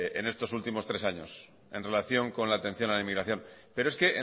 en estos últimos tres años en relación a la atención a la inmigración pero es que